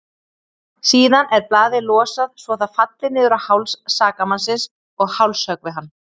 Síðan er blaðið losað svo það falli niður á háls sakamannsins og hálshöggvi hann.